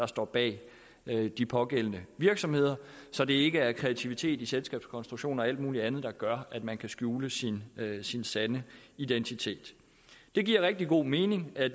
står bag de pågældende virksomheder så det ikke er kreativitet i selskabskonstruktioner og alt mulig andet der gør at man kan skjule sin sin sande identitet det giver rigtig god mening at